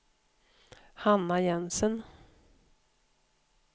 Hanna Jensen